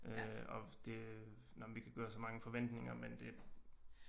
Og det øh nåh men vi kan gøre os mange forventninger men det